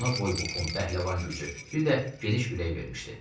Ona boy-buxun, pəhləvan gücü, bir də geniş ürək vermişdi.